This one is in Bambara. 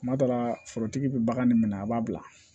Kuma dɔ la forotigi bɛ bagan min minɛ a b'a bila